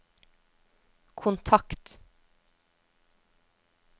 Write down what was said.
kontakt